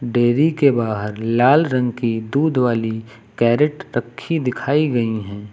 Dairy के बाहर लाल रंग की दूध वाली कैरेट रखी दिखाई गई हैं।